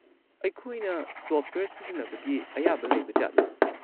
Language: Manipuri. ꯑꯩꯈꯣꯏꯅ ꯁꯣꯐꯠꯋꯦꯌꯔ ꯁꯤꯖꯤꯟꯅꯕꯒꯤ ꯑꯌꯥꯕ ꯂꯩꯕꯖꯥꯠꯂꯥ?